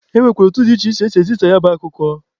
E nwekwara etu dị iche iche esi ezisa ya bụ akụkọ.